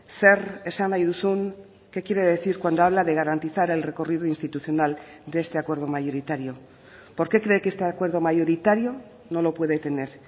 zer esan nahi duzun qué quiere decir cuando habla de garantizar el recorrido institucional de este acuerdo mayoritario por qué cree que este acuerdo mayoritario no lo puede tener